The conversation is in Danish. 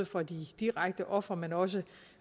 for de direkte ofre men også